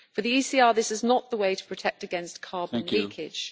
For the ECR, this is not the way to protect against carbon leakage.